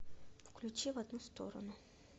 включи в одну сторону